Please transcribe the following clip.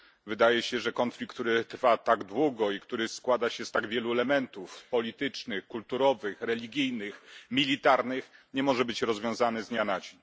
Wydaje się, że konflikt, który trwa tak długo, i który składa się z tak wielu elementów politycznych, kulturowych, religijnych, militarnych, nie może być rozwiązany z dnia na dzień.